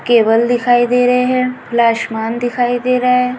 Cable दिखाई दे रहे है खुला आशमान दिखाई दे रहा है।